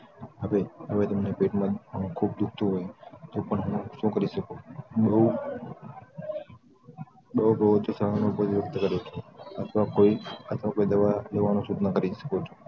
હવે તમને પેટ માં ખૂબ દુખતું હોય તો હું શું કરી શકું? બઉ બઉ તો સહાનુભૂતિ કરી સકું ક કોઈ દવા લેવાનું સૂચન કરી શકું.